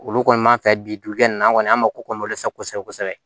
Olu kɔni m'a fɛ bi dugukɛn an kɔni an mako kɔni sa kosɛbɛ kosɛbɛ